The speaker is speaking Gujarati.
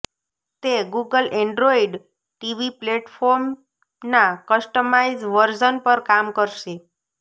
તે ગૂગલ એન્ડ્રોઈડ ટીવી પ્લેટફોર્મના કસ્ટમાઈઝ વર્ઝન પર કામ કરશે